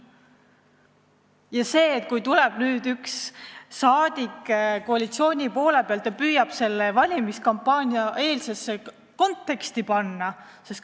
Ja nüüd tuleb üks rahvasaadik koalitsiooni poole pealt ja püüab selle kõik valimiskampaania konteksti panna!